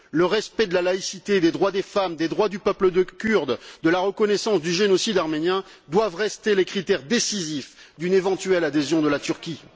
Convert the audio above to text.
Le respect de la laïcité, des droits des femmes et des droits du peuple kurde, ainsi que la reconnaissance du génocide arménien doivent rester les critères décisifs d'une éventuelle adhésion de la Turquie.